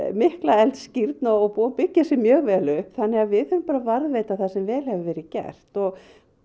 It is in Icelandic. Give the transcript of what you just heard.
mikla eldskírn og búið að byggja sig mjög vel upp þannig að við þurfum bara að varðveita það sem vel hefur verið gert og